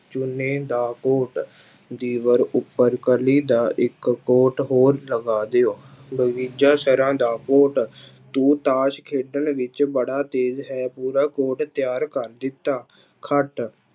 ਚੂਨੇ ਦਾ ਕੋਟ, ਦੀਵਾਰ ਉੱਪਰ ਕਲੀ ਦਾ ਇੱਕ ਕੋਟ ਹੋਰ ਲਗਾ ਦਿਓ ਸਰਾਂ ਦਾ ਕੋਟ ਤੂੰ ਤਾਸ਼ ਖੇਡਣ ਵਿੱਚ ਬੜਾ ਤੇਜ਼ ਹੈ ਪੂਰਾ ਕੋਟ ਤਿਆਰ ਕਰ ਦਿੱਤਾ, ਖੱਟ